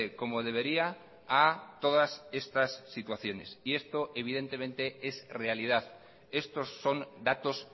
como debería a todas estas situaciones y esto evidentemente es realidad estos son datos